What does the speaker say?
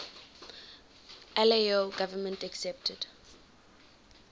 lao government accepted